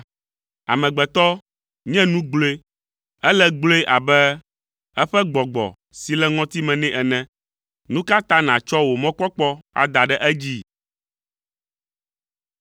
Amegbetɔ nye nu gblɔe: ele gblɔe abe eƒe gbɔgbɔ si le ŋɔtime nɛ ene! Nu ka ta nàtsɔ wò mɔkpɔkpɔ ada ɖe edzi?